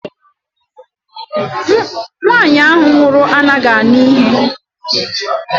Nwaanyi ahụ nwụrụ anaghị anụ ntị